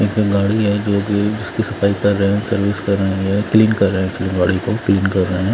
यहां पर गाड़ी है जो की उसकी सफाई कर रहे है सर्विस कर रहे हैं क्लीन कर रहे हैं अपनी गाड़ी को क्लीन कर रहे हैं।